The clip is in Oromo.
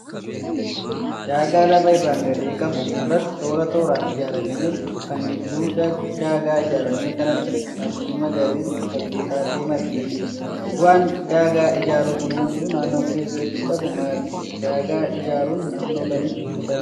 Daagaa lafa irraan gadee qabu irratti toora tooraan ijaaramee jiru, kan gidduu daagaa ijaarame kanaatti margi magariisni wal-qixxaatee margee jiru. Bu'aan daagaa ijaaruun kunuunsa naannoo keessatti qabu maali? Daagaa ijaaruun naannoo kamitti irra beekama?